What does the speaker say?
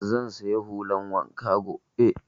Zan saya hulan wanka gobe